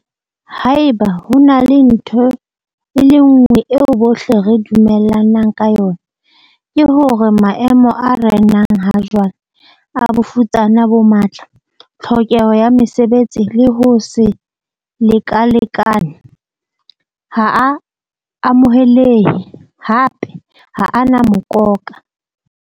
Haeba ho ena le ntho e le nngwe eo bohle re dumellanang ka yona, ke hore maemo a renang ha jwale, a bofutsana bo matla, tlhokeho ya mesebetsi le ho se lekalekane - ha a amohelehe, hape ha a na mokoka.